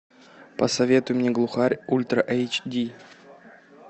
посоветуй мне глухарь ультра эйч ди